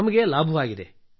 ನಮಗೆ ಲಾಭವಾಗಿದೆ